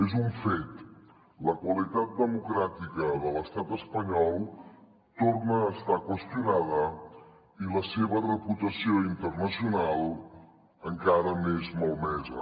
és un fet la qualitat democràtica de l’estat espanyol torna a estar qüestionada i la seva reputació internacional encara més malmesa